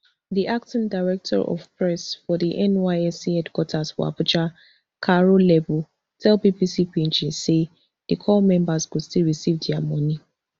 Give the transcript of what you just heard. di acting director of press for di nysc headquarters for abuja caro lembu tell bbc pidgin say di corps members go still receive dia money